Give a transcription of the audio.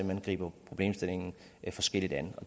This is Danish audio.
hen griber problemstillingen forskelligt an